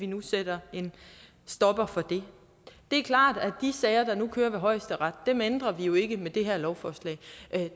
nu sætter en stopper for det det er klart at de sager der nu kører ved højesteret ændrer vi jo ikke med det her lovforslag